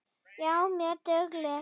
Já, mjög dugleg.